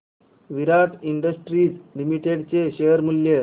विराट Industries Limited चे शेअर मूल्य